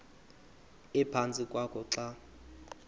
ephantsi kwakho xa